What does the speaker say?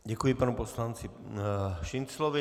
Děkuji panu poslanci Šinclovi.